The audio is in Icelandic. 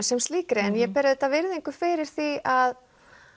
sem slíkri en ég ber auðvitað virðingu fyrir því að